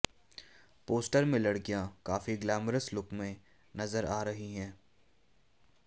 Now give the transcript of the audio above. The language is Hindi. पोस्टर में लड़कियां काफी ग्लैमरस लुक में नजर आ रही हैं